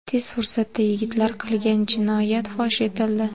Tez fursatda yigitlar qilgan jinoyat fosh etildi.